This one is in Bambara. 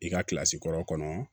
I ka kilasi kɔrɔ kɔnɔ